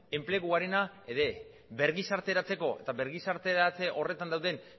enpleguarena ere bergizarteratzeko eta bergizarteratze horretan dauden